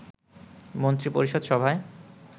মন্ত্রিপরিষদ সভায়